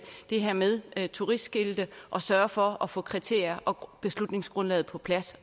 det her med med turistskilte og sørge for at få kriterier og beslutningsgrundlag på plads